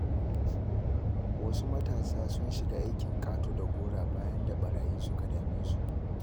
Wasu matasa sun shiga aikin ƙato-da-gora bayan da ɓarayi suka dame su.